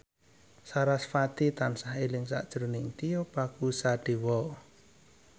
sarasvati tansah eling sakjroning Tio Pakusadewo